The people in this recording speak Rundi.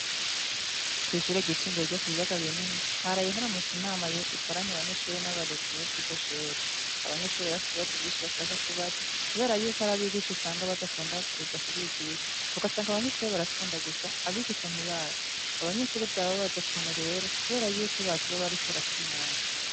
Kw'ishure ryisumbuye ryo Kubiyaga Binini haraye haramutse hakoranwa inama y'abanyeshure n'abarezi bo kuriryo Shure abanyeshure Bari bafise ibibazo vyinshi bashaka kubaza kubera yuko hariho abigisha badatonda kuza kubigisha ugasanga abanyeshure baratonda gusa abigisha ntibaze abanyeshure vyabababaza rero kubera yukO bazoba bariko barata umwanya